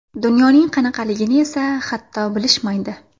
Dunyoning qanaqaligini esa, hatto, bilishmaydi.